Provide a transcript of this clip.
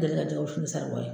deli ka jɛgɛ wusu ni saribɔn ye.